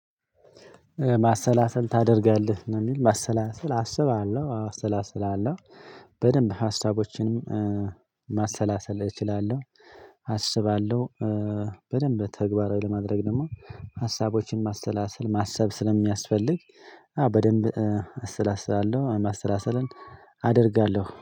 ማሰላሰል ታደርጋለህ? ማሰላሰል አስባለሁ አስላስላለሁ በደንብ ሀሳቦችንም ማሰላሰል እችላለሁ አስባለሁ በደንብ ተግባራዊ ለማድረግ ደግሞ ሀሳቦችንም ማሰላሰል ማሰብ ስለሚያስፈልግ አዎ በደንብ አሰላስላለሁ ማሰላሰልን አደርጋለሁ።